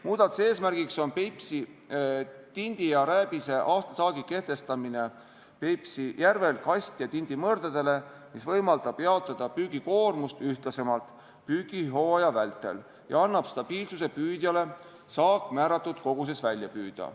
Muudatuse eesmärk on Peipsi tindi ja rääbise aastasaagi kehtestamine Peipsi järvel kast- ja tindimõrdadele, mis võimaldab jaotada püügikoormust ühtlasemalt püügihooaja vältel ja annab püüdjale stabiilsuse, et saak määratud koguses välja püüda.